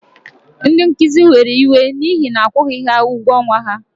Ndị nkuzi were iwe n'ihi na-akwụghị ha ụgwọ ọnwa ha.